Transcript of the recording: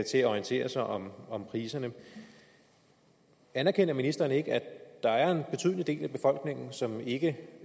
orientere sig om om priserne anerkender ministeren ikke at der er en betydelig del af befolkningen som ikke